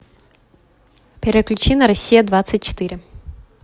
переключи на россия двадцать четыре